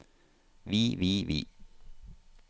vi vi vi